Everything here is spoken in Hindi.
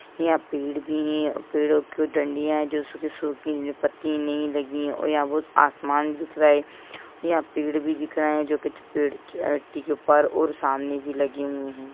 यहां पेड़ भी है पेड़ों की डंडिया है जो सुखी-सुखी पत्ती नई लगी है और यहां बहुत आसमान दिख रहे है यहां पेड़ भी दिख रहे है जो कुछ पेड़ चोटी के ऊपर और सामने भी लगे हुए है।